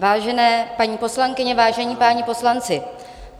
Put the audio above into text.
Vážené paní poslankyně, vážení páni poslanci.